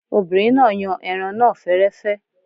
Obìnrin náà yan ẹran náà fẹ́rẹ́fẹ́